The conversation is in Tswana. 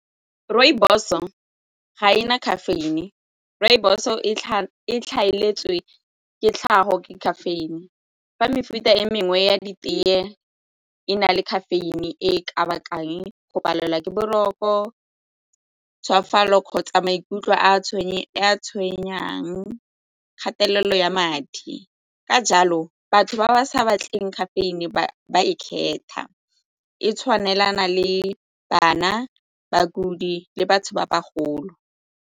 Rooibos-o ga e na caffeine, rooibos e e ikaeletswe ke tlhago ke caffeine fa mefuta e mengwe ya ditee e na le caffeine e ka bakang go palelwa ke boroko kgotsa maikutlo a tshwenyang kgatelelo ya madi ka jalo batho ba ba sa batleng caffeine-e ba e kgetha, e tshwanelana le bana, bakudi le batho ba bagolo.